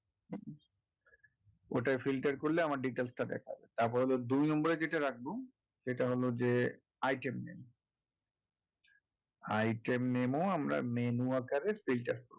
ওটায় filter করলে আমার details টা দেখাবে তারপরে হলো দুই নম্বর এ যেটা রাখবো সেটা হলো যে item name item name ও আমরা menu আকারে filter করবো